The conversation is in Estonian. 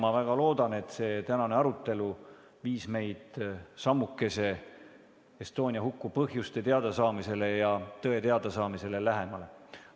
Ma väga loodan, et see tänane arutelu viis meid sammukese Estonia huku põhjuste ja tõe teadasaamisele lähemale.